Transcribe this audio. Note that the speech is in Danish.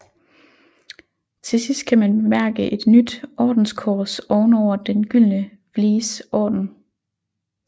Til sidst kan man bemærke et nyt ordenskors ovenover Den gyldne Vlies Orden